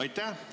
Aitäh!